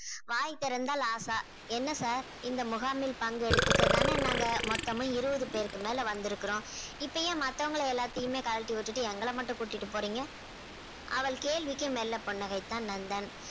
வாய் திறந்தால் ஆசா என்ன sir இந்த முகாமில் பங்கெடுத்துக்க தானே நாங்க மொத்தமும் இருபது பேருக்கு மேல வந்திருக்கிறோம் இப்போ ஏன் மத்தவங்க எல்லாத்தையுமே கழட்டி விட்டுவிட்டு எங்களை மட்டும் கூட்டிட்டு போறீங்க அவள் கேள்விக்கு மெல்ல புன்னகைத்தான் நந்தன்.